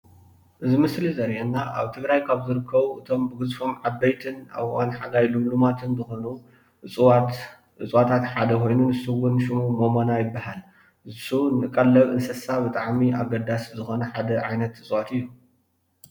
እዚ ምስሊ ዘርእየና ኣብ ትግራይ ካብ ዝርከቡ እቶም ብግዝፎም ዓቦይትን ኣብ እዋን ሓጋይ ልምሉማት ኾይኖም ሰሙ ድማ ሞሞና ይበሃል።